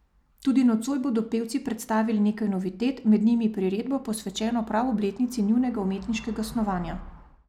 Tudi nocoj bodo pevci predstavili nekaj novitet, med njimi priredbo, posvečeno prav obletnici njunega umetniškega snovanja.